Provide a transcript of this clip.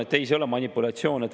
Ei, see ei olnud manipulatsioon.